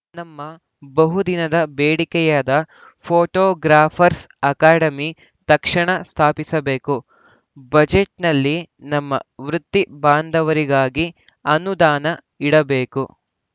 ನಮ್ಮ ಬಹು ದಿನದ ಬೇಡಿಕೆಯಾದ ಫೋಟೋಗ್ರಾಫರ್‍ಸ್ ಅಕಾಡೆಮಿ ತಕ್ಷಣ ಸ್ಥಾಪಿಸಬೇಕು ಬಜೆಟ್‌ನಲ್ಲಿ ನಮ್ಮ ವೃತ್ತಿ ಬಾಂಧವರಿಗಾಗಿ ಅನುದಾನ ಇಡಬೇಕು